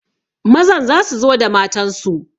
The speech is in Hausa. Mazan za su zo da matansu